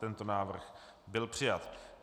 Tento návrh byl přijat.